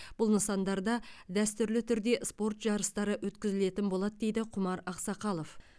бұл нысандарда дәстүрлі түрде спорт жарыстары өткізілетін болады дейді құмар ақсақалов